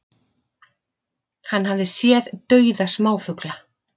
Hann hafi séð dauða smáfugla